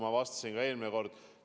Seda ma ütlesin ka eelmine kord vastates.